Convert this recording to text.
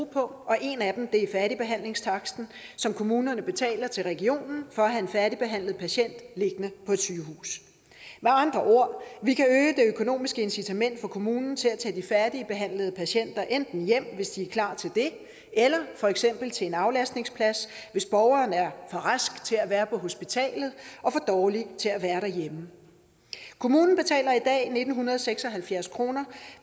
på en af dem er færdigbehandlingstaksten som kommunerne betaler til regionen for at have en færdigbehandlet patient liggende på et sygehus med andre ord vi kan øge det økonomiske incitament for kommunen til at tage de færdigbehandlede patienter enten hjem hvis de er klar til det eller for eksempel til en aflastningsplads hvis borgeren er for rask til at være på hospitalet og for dårlig til at være derhjemme kommunen betaler i dag nitten seks og halvfjerds kroner